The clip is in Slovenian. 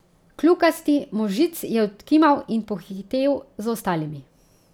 Kljukasti možic je odkimal in pohitel za ostalimi.